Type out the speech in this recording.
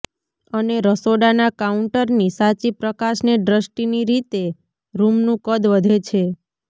અને રસોડાના કાઉન્ટરની સાચી પ્રકાશને દૃષ્ટિની રીતે રૂમનું કદ વધે છે